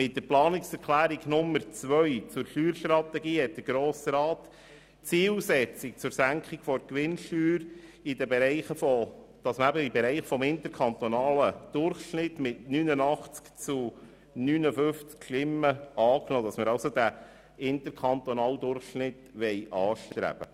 Mit der Planungserklärung Nummer 2 zur Steuerstrategie hat der Grosse Rat die Zielsetzung zur Senkung der Gewinnsteuer mit 89 zu 59 Stimmen angenommen, damit wir in den Bereich des interkantonalen Durchschnitts kommen können.